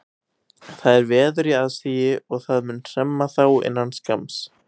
Það er veður í aðsigi og það mun hremma þá innan skamms.